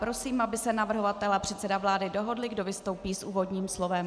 Prosím, aby se navrhovatel a předseda vlády dohodli, kdo vystoupí s úvodním slovem.